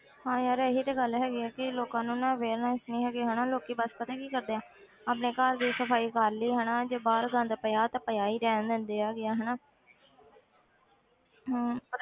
ਹਾਂ ਯਾਰ ਇਹੀ ਤੇ ਗੱਲ ਹੈਗੀ ਆ ਕਿ ਲੋਕਾਂ ਨੂੰ ਨਾ awareness ਨੀ ਹੈਗੀ ਹਨਾ ਲੋਕੀ ਬਸ ਪਤਾ ਕੀ ਕਰਦੇ ਆ ਆਪਣੇ ਘਰ ਦੀ ਸਫ਼ਾਈ ਕਰ ਲਈ ਹਨਾ ਜੇ ਬਾਹਰ ਗੰਦ ਪਿਆ ਤਾਂ ਪਿਆ ਹੀ ਰਹਿਣ ਦਿੰਦੇ ਹੈਗੇ ਆ ਹਨਾ ਹਮ